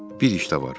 Bir iş də var.